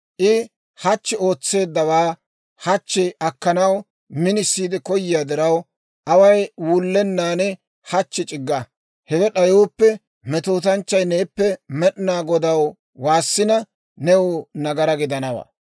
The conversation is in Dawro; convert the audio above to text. I hachchi ootseeddawaa hachchi akkanaw minisiide koyiyaa diraw, away wullennan hachchi c'igga. Hewe d'ayooppe, metootanchchay neeppe Med'inaa Godaw waassina, new nagaraa gidanawaa.